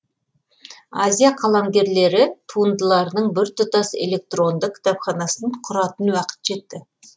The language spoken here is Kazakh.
азия қаламгерлері туындыларының біртұтас электронды кітапханасын құратын уақыт жетті